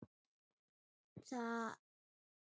Þeir vita ekkert um mig.